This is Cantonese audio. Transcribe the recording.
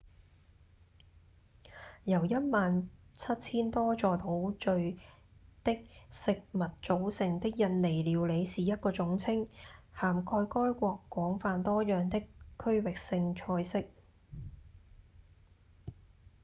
由1萬7000多座島嶼的食物組成的印尼料理是一個總稱涵蓋該國廣泛多樣的區域性菜色